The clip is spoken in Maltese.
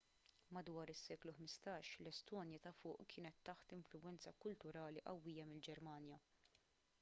madwar is-seklu 15 l-estonja ta' fuq kienet taħt influwenza kulturali qawwija mill-ġermanja